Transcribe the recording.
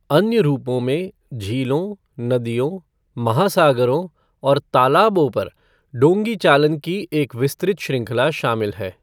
अन्य रूपों में झीलों, नदियों, महासागरों, और तालाबों पर डोंगी चालन की एक विस्तृत श्रृंखला शामिल है।